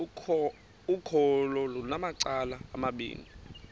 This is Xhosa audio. ukholo lunamacala amabini